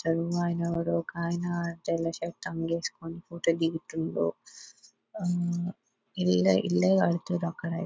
ఆయన ఎవరో కానీ ఒక ఆయన తెల్ల షర్టు వేసుకొని ఫోటో దిగుతుండు ఇల్లు కడుతుండ్రు అక్కడ.